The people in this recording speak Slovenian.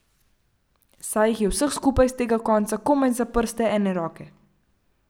Saj jih je vseh skupaj s tega konca komaj za prste ene roke.